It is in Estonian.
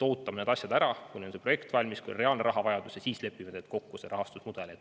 Ootame ära, kui neil on projekt valmis, kui on reaalne rahavajadus, ja siis lepime kokku rahastusmudelis.